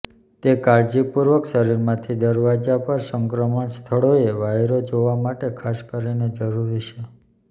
તે કાળજીપૂર્વક શરીરમાંથી દરવાજા પર સંક્રમણ સ્થળોએ વાયરો જોવા માટે ખાસ કરીને જરૂરી છે